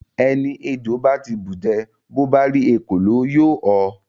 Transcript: Ẹni ejò bá ti bùjẹ rí, bó bá rí ekòló, yóò họ.